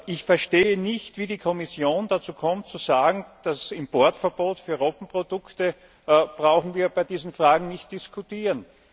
Ich verstehe nicht, wie die Kommission dazu kommt, zu sagen, das Importverbot für Robbenprodukte bräuchten wir bei diesen Fragen nicht diskutieren.